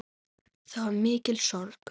Það var mikil sorg.